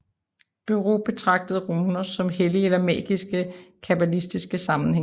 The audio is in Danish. Bureus betragtede runer som hellige eller magiske i kabbalistisk sammenhæng